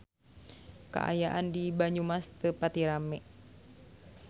Kaayaan di Banyumas teu pati rame